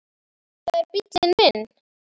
Þetta er bíllinn minn